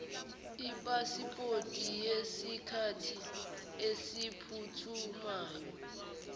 ipasipoti yesikhathi esiphuthumayo